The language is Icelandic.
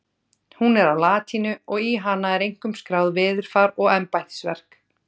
Hún er á latínu og í hana er einkum skráð veðurfar og embættisverk.